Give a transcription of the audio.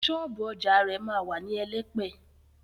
Ṣọ́ọ̀bú ọjà rẹ̀ ma wà ní Elẹ́pẹ̀.